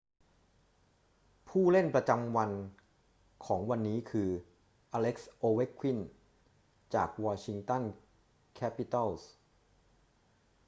ผู้เล่นประจำวันของวันนี้คือ อเล็กซ์ โอเวคคิน จากวอชิงตันแคปิตัลส์